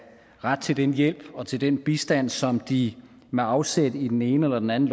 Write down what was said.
ret til den hjælp og til den bistand som de med afsæt i den ene eller den anden